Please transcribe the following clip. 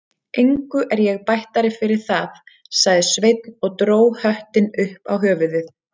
Engu er ég bættari fyrir það, sagði Sveinn og dró höttinn upp á höfuðið.